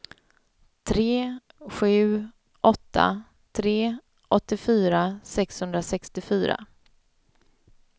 tre sju åtta tre åttiofyra sexhundrasextiofyra